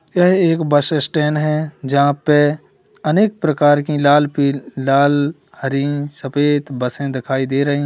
यह एक bus stand है जहां पर अनेक प्रकार की लाल पि लाल हरी सफेद बसें दिखाई दे रही हैं।